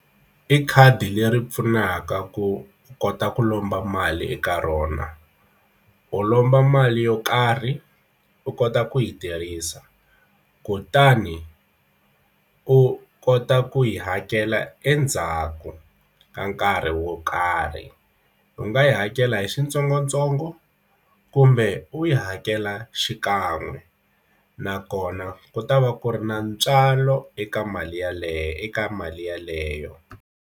I khadi leri pfunaka ku kota ku lomba mali eka rona u lomba mali yo karhi u kota ku yi tirhisa kutani u kota ku yi hakela endzhaku ka nkarhi wo karhi u nga yi hakela hi switsongotsongo kumbe u yi hakela xikan'we nakona ku ta va ku ri na ntswalo eka mali yaleyo eka mali yeleyo.